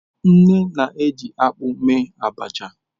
Nne na-eji akpu eme abacha.